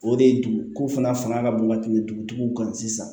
O de ye duguko fana fanga ka bon ka tɛmɛ dugutigiw kan sisan